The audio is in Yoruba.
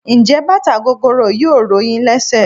Njé bàtà gogoro yìí ò ro yín lésè?